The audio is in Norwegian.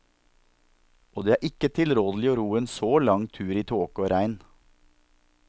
Og det er ikke tilrådelig å ro en så lang tur i tåke og regn.